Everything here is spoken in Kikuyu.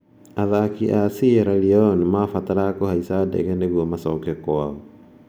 Athaki a Sierra leone maabataraga kũhaica ndege nĩguo macoke kwao.